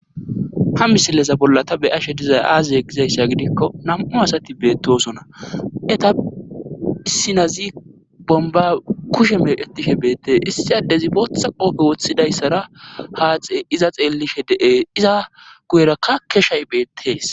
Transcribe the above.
ha misileza bolla ta beyashe dizay aazaye gizayssa gidikko nam7u asati beettosona eta issinazi bomba kushe meeqetishe beette issiyadezi bootha qoope woththidayssara haaxe iza xeellishe de7ees iza guyerakkakke shaybeettees